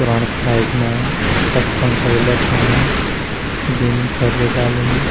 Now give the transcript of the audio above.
पुराना साइज़ मा तख पंखा भी लटकयीं बिमकर भी डाली।